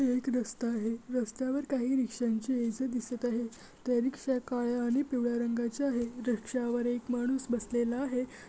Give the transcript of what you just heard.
ही एक रस्ता आहे रस्त्यावर काही रिक्ष्यांची ये-जा दिसत आहे त्या रिक्षा काळ्या आणि पिवळ्या रंगाचे आहे रिक्षावर एक माणूस बसलेला आहे.